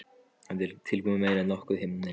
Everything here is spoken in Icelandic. Þetta er tilkomumeira en nokkuð himnaríki.